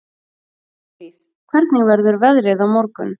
Snæfríð, hvernig verður veðrið á morgun?